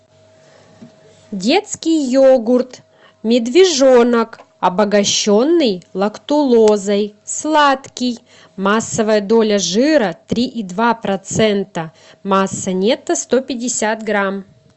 детский йогурт медвежонок обогащенный лактулозой сладкий массовая доля жира три и два процента масса нетто сто пятьдесят грамм